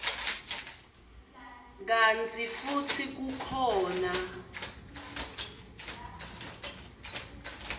kantsi futsi kukhona